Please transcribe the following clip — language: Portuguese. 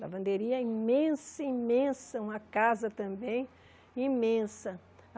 Lavanderia imensa, imensa, uma casa também imensa.